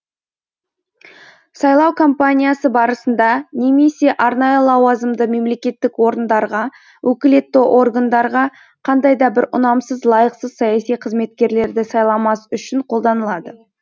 сайлау кампаниясы барысында немесе арнайы лауазымды мемлекеттік орындарға өкілетті органдарға қандай да бір ұнамсыз лайықсыз саяси қызметкерлерді сайламас үшін қолданылады